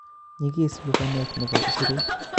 Nyigis lubanet nebo isurut